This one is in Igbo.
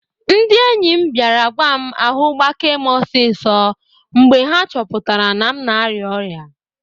Ndị enyi m bịara gwa m ahu gbakee m osiso mgbe ha chọpụtara na m na-arịa ọrịa